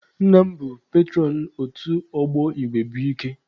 Nna m bụ petụrọn otu ọgbọ igwe bụ ike.